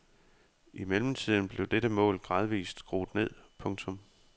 I mellemtiden blev dette mål gradvist skruet ned. punktum